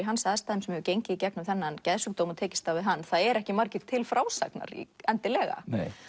sem hefur gengið í gegnum þennan geðsjúkdóm og tekist á við hann það eru ekkert margir til frásagnar endilega